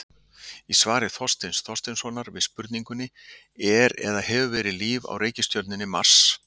Í svari Þorsteins Þorsteinssonar við spurningunni Er eða hefur verið líf á reikistjörnunni Mars?